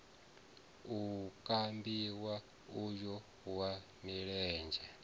o kambiwa uyo wa milenzhe